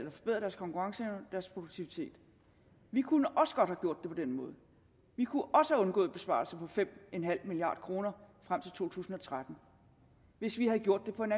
konkurrenceevne og produktivitet vi kunne også godt have gjort det på den måde vi kunne også have undgået besparelser på fem milliard kroner frem til to tusind og tretten hvis vi havde gjort det på en